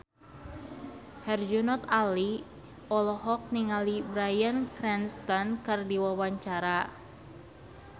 Herjunot Ali olohok ningali Bryan Cranston keur diwawancara